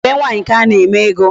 Ọ bụ be nwaanyị ka a na-eme ego.